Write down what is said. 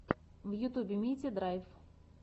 в ютубе митя драйв